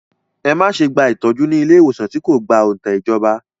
Ẹ má ṣe gba ìtọ́jú ní ilé ìwòsàn tí kò gba òǹtẹ̀ ìjọba!